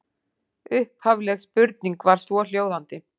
Upphafleg spurning var svohljóðandi: